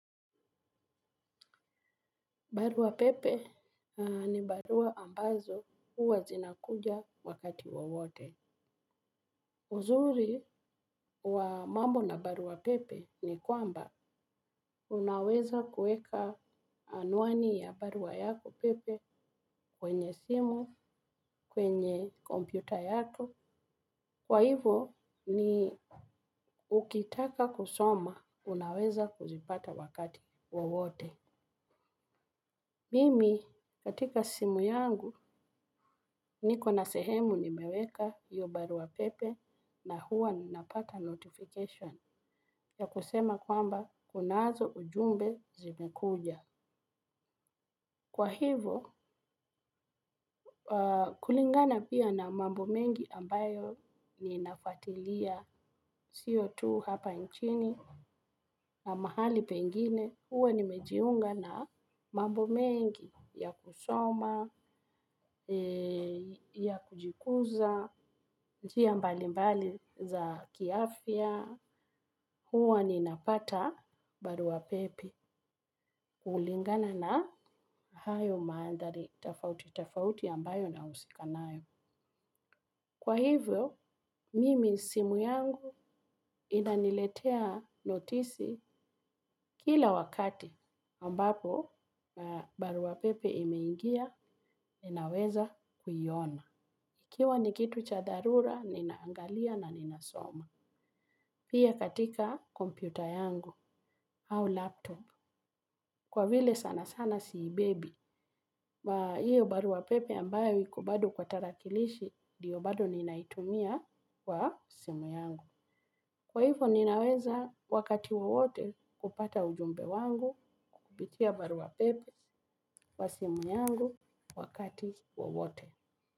Barua pepe ni barua ambazo huwa zinakuja wakati wowote. Uzuri wa mambo na barua pepe ni kwamba unaweza kueka anuani ya barua yako pepe kwenye simu, kwenye kompyuta yako. Kwa hivo ni ukitaka kusoma unaweza kuzipata wakati wowote. Mimi, katika simu yangu, niko na sehemu nimeweka hiyo barua pepe na huwa ninapata notification ya kusema kwamba kunazo ujumbe zimekuja. Kwa hivo, kulingana pia na mambo mengi ambayo ninafuatilia sio tu hapa nchini na mahali pengine. Huwa nimejiunga na mambo mengi ya kusoma, ya kujikuza, njia mbali mbali za kiafya. Huwa ninapata barua pepe. Kulingana na hayo mandhari, tofauti, tofauti ambayo nahusika nayo. Kwa hivyo, mimi simu yangu inaniletea notisi kila wakati ambapo barua pepe imeingia ninaweza kuiona. Ikiwa ni kitu cha dharura, ninaangalia na ninasoma. Pia katika kompyuta yangu au laptop. Kwa vile sana sana siibebi. Na hivyo barua pepe ambayo iko bado kwa tarakilishi ndiyo bado ninaitumia kwa simu yangu. Kwa hivo ninaweza wakati wowote kupata ujumbe wangu kupitia barua pepe kwa simu yangu wakati wowote.